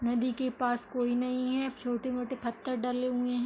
नदी के पास कोई नहीं हैं। छोटे-मोटे पत्थर डले हुए --